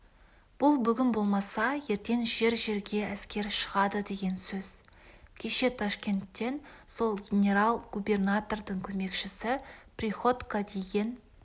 бұл бүгін болмаса ертең жер-жерге әскер шығады деген сөз кеше ташкенттен сол генерал-губернатордың көмекшісі приходько деген